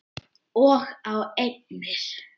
Og á eignir.